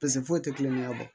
Pise foyi tɛ kulonkɛ bɔ